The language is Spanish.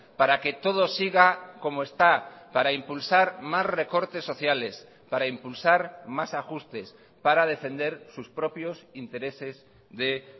para que todo siga como está para impulsar más recortes sociales para impulsar más ajustes para defender sus propios intereses de